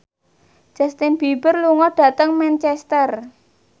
Justin Beiber lunga dhateng Manchester